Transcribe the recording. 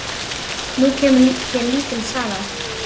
Nú kemur hér lítil saga.